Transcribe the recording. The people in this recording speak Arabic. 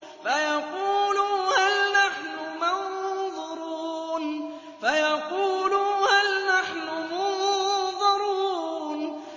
فَيَقُولُوا هَلْ نَحْنُ مُنظَرُونَ